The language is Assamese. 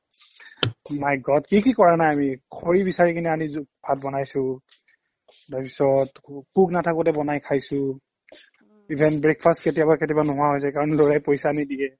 my god কি কি কৰা নাই আমি খৰি বিচাৰি কিনে আনিছো ভাত বনাইছো তাৰপিছত cook নাথাকোতে বনাই খাইছো even breakfast কেতিয়াবা কেতিয়াবা নোহোৱা হৈ যায় কাৰণ ল'ৰাই পইচা নিদিয়ে